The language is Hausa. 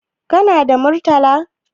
Kana da Murtala?